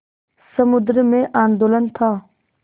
समुद्र में आंदोलन था